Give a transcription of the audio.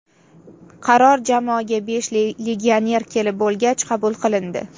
Qaror jamoaga besh legioner kelib bo‘lgach qabul qilindi.